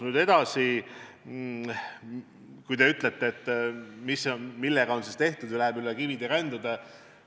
Nüüd edasi, kui te küsite, et millega on siis tegeldud, ja ütlete, et läheb üle kivide ja kändude.